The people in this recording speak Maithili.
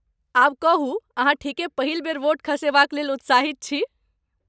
आब कहू, अहाँ ठीके पहिल बेर वोट खसेबाक लेल उत्साहित छी?